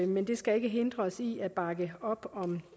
men det skal ikke hindre os i at bakke op om